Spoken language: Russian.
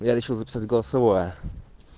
я хочу записать голосовое